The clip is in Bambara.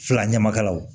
Fila ɲamakalaw